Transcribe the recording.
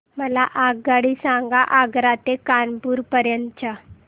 मला आगगाडी सांगा आग्रा ते कानपुर पर्यंत च्या